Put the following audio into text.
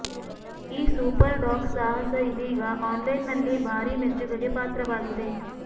ಈ super dog ಸಾಹಸ ಇದೀಗ ಆನ್ ಲೈನ್ ನಲ್ಲಿ ಭಾರೀ ಮೆಚ್ಚುಗೆಗೆ ಪಾತ್ರವಾಗಿದೆ